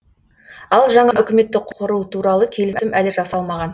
ал жаңа үкіметті құру туралы келісім әлі жасалмаған